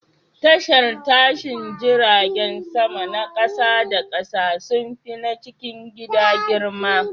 Tashar tashin jiragen sama na kasa da kasa sun fi na cikin gida girma.